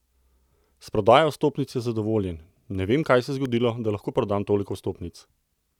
S prodajo vstopnic je zadovoljen: "Ne vem, kaj se je zgodilo, da lahko prodam toliko vstopnic.